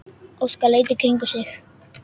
Óskar leit í kringum sig.